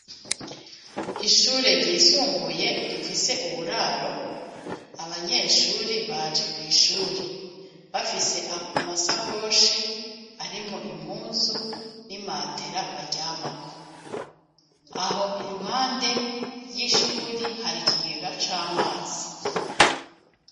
Ishure ryisumbuye rifise uburaro. Abanyeshuri baje kw'ishuri bafise amasakoshi arimwo impuzu n'imatera baryamako. Aho iruhande ry'ishuri, har'ikigega c'amazi.